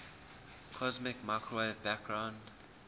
cosmic microwave background